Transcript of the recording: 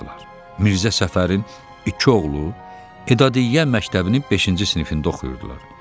Mirzə Səfərin iki oğlu edaəyyə məktəbinin beşinci sinifində oxuyurdular.